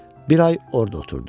Bir ay orda oturdu.